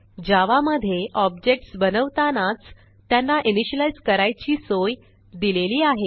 जावा मधे ऑब्जेक्ट्स बनवतानाच त्यांना इनिशियलाईज करायची सोय दिलेली आहे